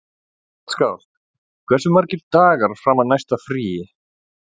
Gottskálk, hversu margir dagar fram að næsta fríi?